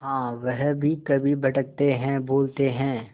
हाँ वह भी कभी भटकते हैं भूलते हैं